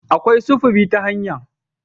Akwai sufuri ta hanya